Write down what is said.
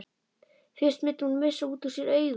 Fyrst mundi hún missa út úr sér augun.